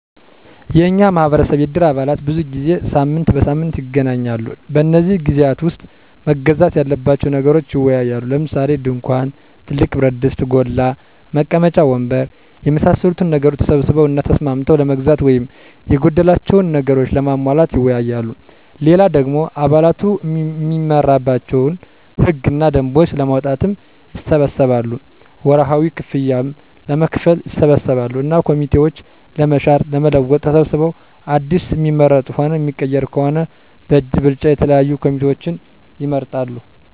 የኛ ማህበረሰብ የእድር አባላት ብዙ ጊዜ ሳምንት በሳምንት ይገናኛሉ። በነዚህ ግዜያት ዉስጥ መገዛት ያለባቸዉን ነገሮች ይወያያሉ። ለምሳሌ፦ ድንኳን፣ ትልቅ ብረትድስት (ጎላ) ፣ መቀመጫ ወንበር የመሳሰሉትን ነገሮች ተሰብስበዉ እና ተስማምተዉ ለመግዛት ወይም የጎደላቸዉን ነገሮች ለማሟላት ይወያያሉ። ሌላ ደሞ አባላቱ እሚመራባቸዉን ህግ እና ደንቦች ለማዉጣትም ይሰበሰባሉ፣ ወርሀዊ ክፍያም ለመክፈል ይሰበሰባሉ እና ኮሚቴዎችን ለመሻር ለመለወጥ ተሰብስበዉ አዲስ እሚመረጥም ሆነ እሚቀየር ከሆነም በእጅ ብልጫ የተለያዩ ኮሚቴዎችን ይመርጣሉ።